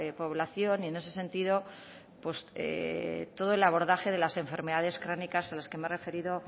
población y en ese sentido todo el abordaje de las enfermedades crónicas a las que me he referido